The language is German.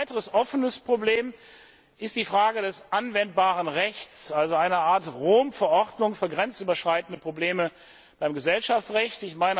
Ein weiteres offenes Problem ist die Frage des anwendbaren Rechts, also eine Art Rom Verordnung für grenzüberschreitende Probleme beim Gesellschaftsrecht.